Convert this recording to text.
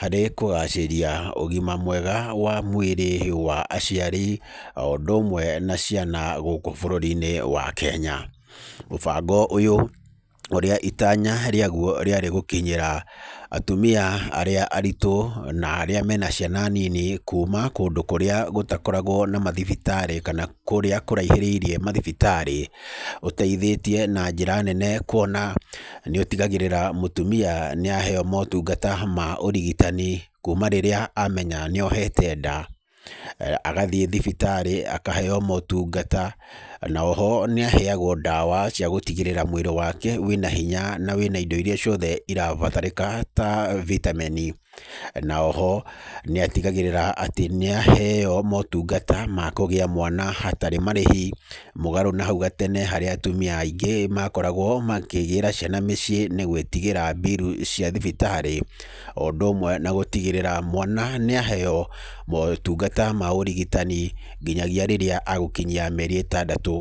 harĩ kũgacĩria ũgima mwega wa mwĩrĩ wa aciari o ũndũ ũmwe na ciana gũkũ bũrũri-inĩ wa Kenya. Mũbango ũyũ ũrĩa itanya rĩaguo rĩarĩ atumia arĩa aritũ na mena ciana nini kuma kũndũ kũrĩa gũtakoragwo na mathibitarĩ kana kũrĩa kũraihĩrĩirie mathibitarĩ. Ũteithĩrĩirie na njĩra nene kuona nĩ ũtigagĩrĩra mũtumia nĩ aheo motungata ma ũrigitani kuma rĩrĩa amenya nĩ ohote nda, agathiĩ thibitarĩ akaheo motungata. Na oho nĩ aheagwo ndawa cia gũtigĩrĩra mwĩrĩ wake wĩna hinya na wĩna indo irĩa ciothe irabatarĩka ta vitamin. Na oho nĩ atigagĩrĩra atĩ n aheo motungata ma kũgĩa mwana hatarĩ marĩhi, mũgarũ na hau gatene harĩa atumia aingĩ makoragwo makĩgĩĩra ciana mũciĩ nĩ gwĩtigĩra bill cia thibitarĩ. O ũndũ ũmwe na gũtigĩrĩra atĩ mwana nĩ aheo motungata ma ũrigitani nginyagia rĩrĩa egũkinyia mĩeri ĩtatũ.